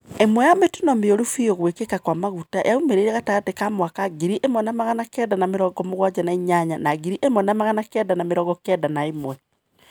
Imwe ya mitino mioru biũ ya guikika kwa maguta yaumirire gatagati wa mwaka ngiri imwe na magana kenda na mĩrongo mũgwanja na inyanya na ngirĩ ĩmwe na magana kenda na mĩrongo kenda na ĩmwe.